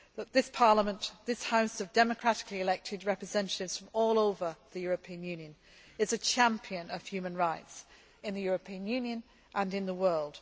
This Parliament, this House of democratically elected representatives from all over the European Union, is a champion of human rights, in the European Union and in the